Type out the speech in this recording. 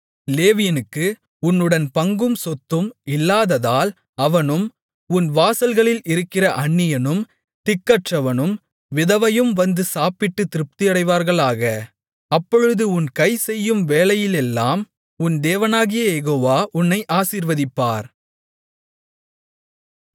லேவியனுக்கு உன்னுடன் பங்கும் சொத்தும் இல்லாததால் அவனும் உன் வாசல்களில் இருக்கிற அந்நியனும் திக்கற்றவனும் விதவையும் வந்து சாப்பிட்டுத் திருப்தியடைவார்களாக அப்பொழுது உன் கை செய்யும் வேலையிலெல்லாம் உன் தேவனாகிய யெகோவா உன்னை ஆசீர்வதிப்பார்